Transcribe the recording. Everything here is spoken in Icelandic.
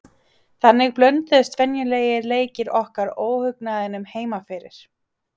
Þannig blönduðust venjulegir leikir okkar óhugnaðinum heima fyrir.